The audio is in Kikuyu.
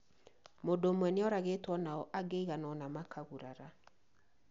Mũndũ ũmwe nĩoragtwo nao angĩ aigana ona makagurari.